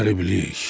Qəriblik.